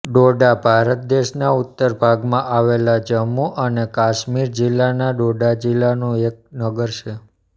ડોડા ભારત દેશના ઉત્તર ભાગમાં આવેલા જમ્મુ અને કાશ્મીર રાજ્યના ડોડા જિલ્લાનું એક નગર છે